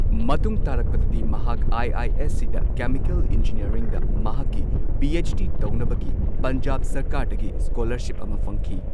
ꯃꯇꯨꯡ ꯇꯥꯔꯛꯄꯗꯗꯤ, ꯃꯍꯥꯛ ꯑꯥꯏ ꯑꯥꯏ ꯑꯦꯁ ꯁꯤꯗ ꯀꯦꯃꯤꯀꯦꯜ ꯏꯟꯖꯤꯅꯤꯌꯔꯤꯡꯗ ꯃꯍꯥꯛꯀꯤ ꯄꯤ ꯑꯩꯆ ꯗꯤ ꯇꯧꯅꯕꯒꯤ ꯄꯟꯖꯥꯕ ꯁꯔꯀꯥꯔꯗꯒꯤ ꯁ꯭ꯀꯣꯂꯔꯁꯤꯞ ꯑꯃ ꯐꯪꯈꯤ꯫